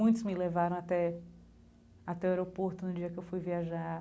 Muitos me levaram até até o aeroporto no dia que eu fui viajar.